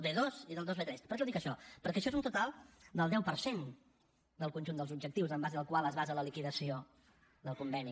per què ho dic això perquè això és un total del deu per cent del conjunt dels objectius en base al qual es basa la liquidació del conveni